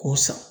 K'o san